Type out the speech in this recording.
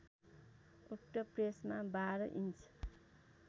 उक्त प्रेसमा १२ इन्च